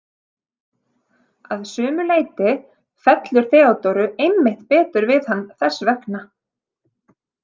Að sumu leyti fellur Theodóru einmitt betur við hann þess vegna.